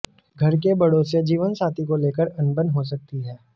घर के बड़ों से जीवनसाथी को लेकर अनबन हो सकती है